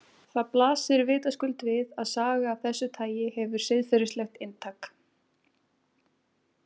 Það blasir vitaskuld við að saga af þessu tagi hefur siðferðislegt inntak.